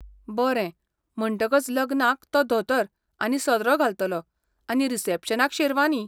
बरें, म्हणटकच लग्नाक तो धोतर आनी सदरो घालतलो आनी रिसॅप्शनाक शेरवानी.